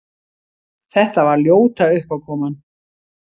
Þetta var ljóta uppákoman!